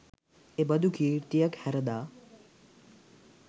එබඳු කීර්තියක් හැරදා